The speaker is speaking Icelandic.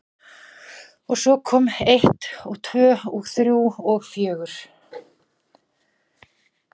Og svo kom eitt og tvö og þrjú og fjögur.